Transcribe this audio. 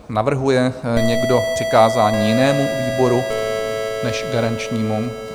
Navrhuje někdo přikázání jinému výboru než garančnímu?